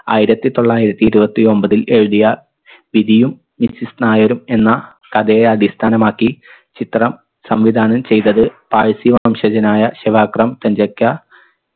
ആയിരത്തി തൊള്ളായിരത്തി ഇരുപത്തി ഒമ്പതിൽ എഴുതിയ വിധിയും missus നായരും എന്ന കഥയെ അടിസ്ഥാനമാക്കി ചിത്രം സംവിധാനം ചെയ്തത് പാൾസി വംശജനായ ഷെവാക്രം